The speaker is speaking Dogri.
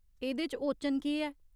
एह्दे च ओचन केह् ऐ ?